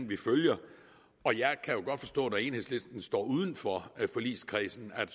vi følger og jeg kan jo godt forstå når enhedslisten står uden for forligskredsen at